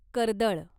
कर्दळ